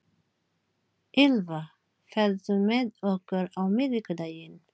Ýlfa, ferð þú með okkur á miðvikudaginn?